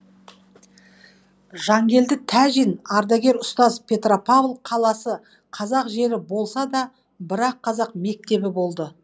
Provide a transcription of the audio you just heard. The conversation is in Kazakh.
жангелді тәжин ардагер ұстаз петропавл қаласы қазақ жері болса да бір ақ қазақ мектебі болды